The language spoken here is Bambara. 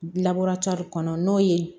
kɔnɔ n'o ye